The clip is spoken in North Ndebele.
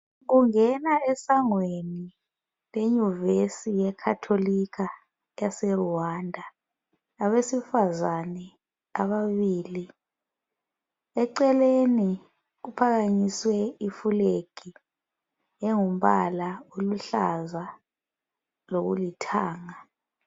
Kungena esangweni lenyuvesi yekhatholikha ese Rwanda, abesifazane ababili. Eceleni kuphakanyiswe ifulegi engumbala oluhlaza lokulithanga.